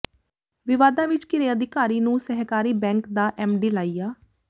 ਵਿਵਾਦਾਂ ਵਿੱਚ ਘਿਰੇ ਅਧਿਕਾਰੀ ਨੂੰ ਸਹਿਕਾਰੀ ਬੈਂਕ ਦਾ ਐਮਡੀ ਲਾਇਆ